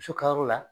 Muso ka yɔrɔ la